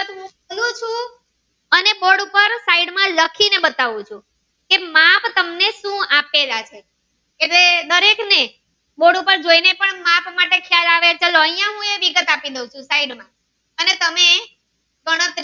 side માં લખી ને બતાવું છું કે માપ તમને સુ આપેલા છે એટલે દરેક ને બોર્ડ ઉપર ને પણ માપ માટે ખ્યાલ આવે તો ચાલો આયા હું વિગત આપી દવ છું side માં અને તમે ગણતરી.